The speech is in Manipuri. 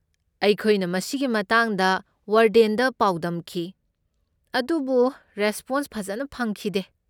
ꯑꯩꯈꯣꯏꯅ ꯃꯁꯤꯒꯤ ꯃꯇꯥꯡꯗ ꯋꯥꯔꯗꯦꯟꯗ ꯄꯥꯎꯗꯝꯈꯤ ꯑꯗꯨꯕꯨ ꯔꯦꯁꯄꯣꯟꯁ ꯐꯖꯅ ꯐꯪꯈꯤꯗꯦ꯫